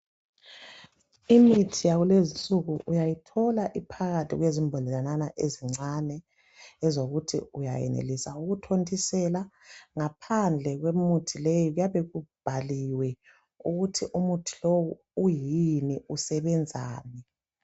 Imithi yakulezi insuku uyayithola iphakathi kwezimbodlelanyana ezincane ozokuthi uyayenelisa ukuthontisela, ngaphandle kwemithi leyi kuyabe kubhaliwe ukuthi umuthi lowu uyini usebenzani.